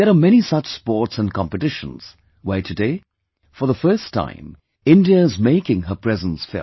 There are many such sports and competitions, where today, for the first time, India is making her presence felt